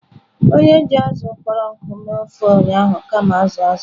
Onye ji azụ̀ kpọrọ nkụ were mee ofe ụnyahụ kama azụ̀ azụ̀.